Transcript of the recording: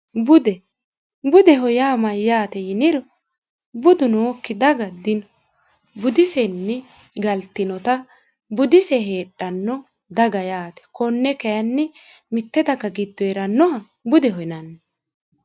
bude budeho yaa mayyaate yiniro budu nookki daga dino budisenni galtinota budise heedhanno daga yaate konne kayinni mitte daga giddo heerannoha budeho yinanni